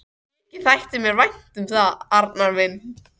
Mikið þætti mér vænt um það, Arnar minn!